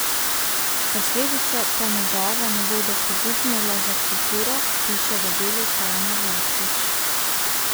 Posledice po njegovo ne bodo pogubne le za kulturo, piše v Delu Tanja Jaklič.